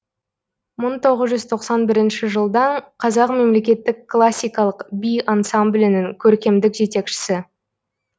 мың тоғыз жүз тоқсан бірінші жылдан қазақ мемлекеттік классикалық би ансамблінің көркемдік жетекшісі